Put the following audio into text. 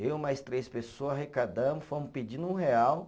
Eu mais três pessoa arrecadamos, fomos pedindo um real.